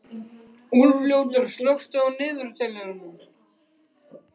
Úlfljótur, slökktu á niðurteljaranum.